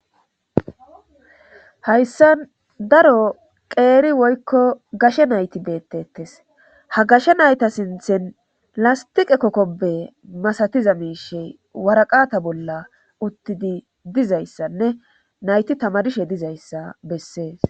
hayssa daro qeeri woykko gashe nayti beettettes ha gashe nayta sinthen lastiqe kokkobe masatiza miishey waraqata bolla uttidi dizayssanne nayti tama dishe dizayssa bessee